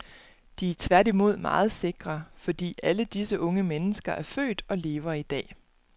De er tværtimod meget sikre, fordi alle disse unge mennesker er født og lever i dag.